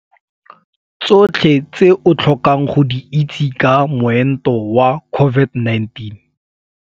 Tsotlhe tse o tlhokang go di itse ka Moento wa COVID-19.